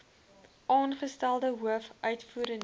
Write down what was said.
aangestelde hoof uitvoerende